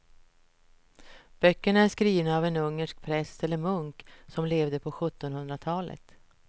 Böckerna är skrivna av en ungersk präst eller munk som levde på sjuttonhundratalet.